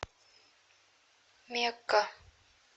мекка